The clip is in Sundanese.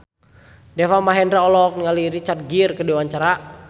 Deva Mahendra olohok ningali Richard Gere keur diwawancara